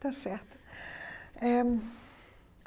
Está certo eh.